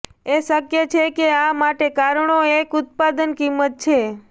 એ શક્ય છે કે આ માટે કારણો એક ઉત્પાદન કિંમત છે